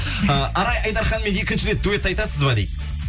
ы арай айдарханмен екінші рет дуэт айтасыз ба дейді